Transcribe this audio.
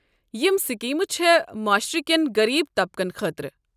یم سکیٖمہ چھےٚ معاشرٕ کٮ۪ن غریب طبقن خٲطرٕ ۔